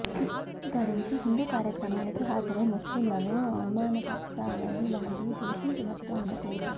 హిజబ్ ధరించి హిందూ కార్యక్రమానికి హాజరై ముస్లింలను అవమానపరిచావని వాళ్లు దూషించినట్టు ఆమె తెలిపారు